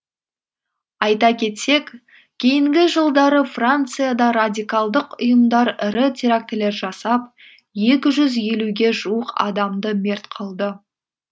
айта кетсек кейінгі жылдары францияда радикалдық ұйымдар ірі терактілер жасап екі жүз елуге жуық адамды мерт қылды